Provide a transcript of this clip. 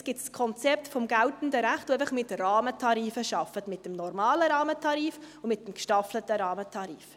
Es gibt das Konzept des geltenden Rechts, das einfach mit Rahmentarifen arbeitet, mit dem normalen Rahmentarif und mit dem gestaffelten Rahmentarif.